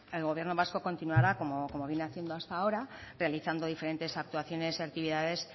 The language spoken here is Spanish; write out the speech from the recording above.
el gobierno vasco continuará como viene haciendo hasta ahora realizando diferentes actuaciones y actividades